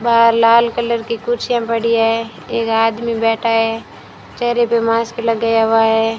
बाहर लाल कलर की कुर्सियां पड़ी है एक आदमी बैठा है चेहरे पे मास्क लगाया हुआ है।